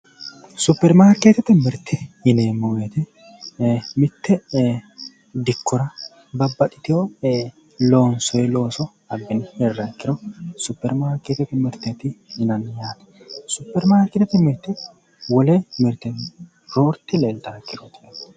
Superimarkeettete mirte yineemmo woyiite mitte dikkora babbaxxiteyo loonsoyi looso abbine hirriha ikkiro Superimarkeettete mirteeti yinanni yaate superimarkeettete mirte wole mirtenni roorte leetaahaa ikkiro